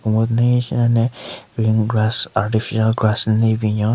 Commode den henshin ka le green grass artificial grass nden le binyon.